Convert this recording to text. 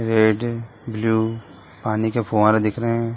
Red blue पानी का फावरा दिख रहा है।